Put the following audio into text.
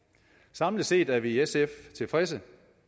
samlet set er vi i sf tilfredse